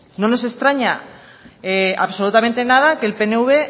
no nos extraña absolutamente nada que el pnv